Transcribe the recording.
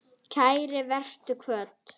Kært vertu kvödd.